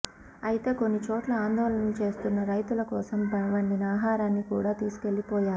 అయితే కొన్నిచోట్ల ఆందోళనలు చేస్తున్న రైతుల కోసం వండిన ఆహారాన్ని కూడా తీసుకెళ్లిపోయారు